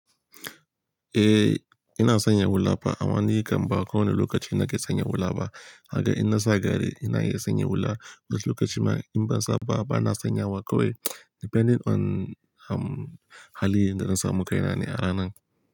Eh, ina sanya hula fa. Amma ni kam ba kowane lokaci na ke sanya hula ba. Haka in nasa gari ina iya sanya hula. Wasu lokaci ma in ban sa ba, ba na sanya wa kawai depending on, um, hali da zan samu kai na ne a ranan.